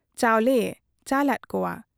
ᱪᱟᱣᱞᱮᱭᱮ ᱪᱟᱞᱟᱫ ᱠᱚᱣᱟ ᱾